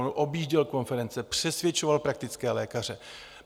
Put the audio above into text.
On objížděl konference, přesvědčoval praktické lékaře.